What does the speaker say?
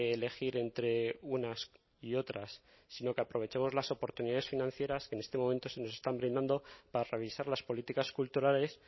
elegir entre unas y otras sino que aprovechemos las oportunidades financieras que en este momento se nos están brindando para revisar las políticas culturales